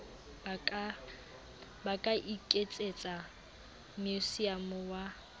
ba ka iketsetsa meusiamo wa